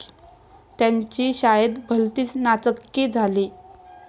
त्याची शाळेत भलतीच नाचक्की झाली.